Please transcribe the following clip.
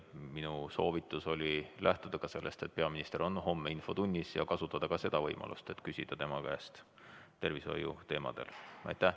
Minu soovitus oli lähtuda sellest, et peaminister on homme infotunnis, ja kasutada ka seda võimalust, et küsida siis tema käest tervishoiu teemadel.